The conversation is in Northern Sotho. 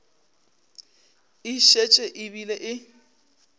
e šetše e bile e